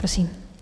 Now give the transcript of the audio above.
Prosím.